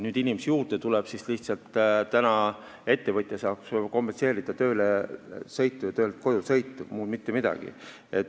Kui inimesi tuleb juurde, siis ettevõtja saab lihtsalt kompenseerida tööle ja töölt koju sõitu, muud mitte midagi.